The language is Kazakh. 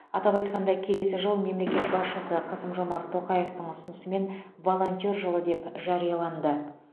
атап айтқанда келесі жыл мемлекет басшысы қасым жомарт тоқаевтың ұсынысымен волонтер жылы деп жарияланды